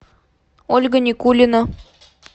ольга никулина